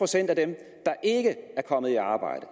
er ikke er kommet i arbejde